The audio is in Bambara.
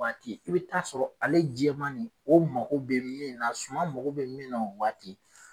Waati i bɛ taa sɔrɔ ale jɛma nin o mago bɛ min na suman mɔgɔ bɛ min na o waati.